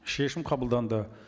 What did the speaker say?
шешім қабылданды